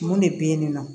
Mun de bɛ ye nin nɔ